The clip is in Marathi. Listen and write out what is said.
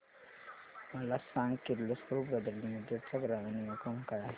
मला सांग किर्लोस्कर ब्रदर लिमिटेड चा ग्राहक निगा क्रमांक काय आहे